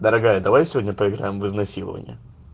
дорогая давай сегодня поиграем в изнасилование